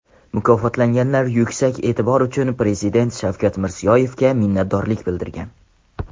Mukofotlanganlar yuksak e’tibor uchun Prezident Shavkat Mirziyoyevga minnatdorlik bildirgan.